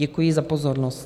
Děkuji za pozornost.